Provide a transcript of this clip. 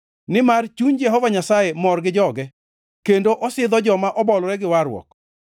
Nimar chuny Jehova Nyasaye mor gi joge kendo osidho joma obolore gi warruok.